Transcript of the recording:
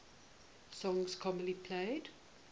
songs commonly played